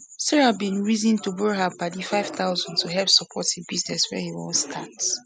sarah bin reason to borrow her padi five thousand tohelp support businees wey he wan start